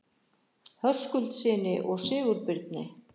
Höskuldssyni og Sigurbirni